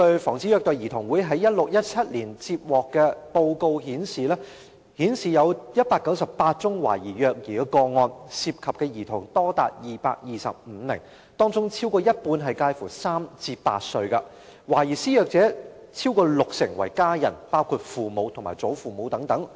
防止虐待兒童會在 2016-2017 年度的報告顯示，該年度接獲198宗懷疑虐兒個案，涉及的兒童多達225名，當中超過一半介乎3歲至8歲，懷疑施虐者逾六成為家人，包括父母和祖父母等。